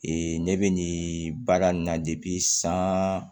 ne bɛ nin baara nin na san